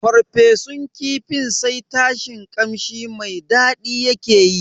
farfesun kifin sai tashin kamshi mai daɗi yake yi.